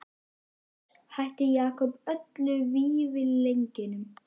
Og loks hætti Jakob öllum vífilengjum.